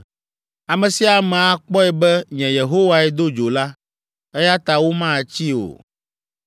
Ame sia ame akpɔe be nye Yehowae do dzo la, eya ta womatsii o.’ ”